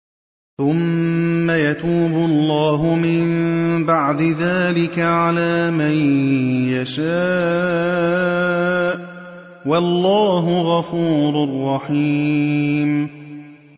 ثُمَّ يَتُوبُ اللَّهُ مِن بَعْدِ ذَٰلِكَ عَلَىٰ مَن يَشَاءُ ۗ وَاللَّهُ غَفُورٌ رَّحِيمٌ